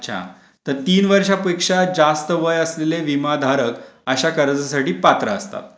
अच्छा तर तीन वर्षापेक्षा जास्त वय असलेले विमाधारक अशा कर्जासाठी पात्र असतात.